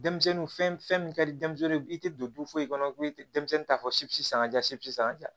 Denmisɛnnin fɛn fɛn min ka di denmisɛnnin ye i tɛ don du foyi kɔnɔ ko i tɛ denmisɛnnin ta fɔ si sanka japisi san